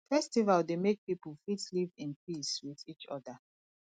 festival dey make pipo fit live in peace with each oda